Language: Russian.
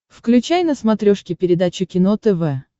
включай на смотрешке передачу кино тв